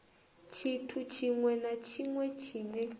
tshithu tshiṅwe na tshiṅwe tshine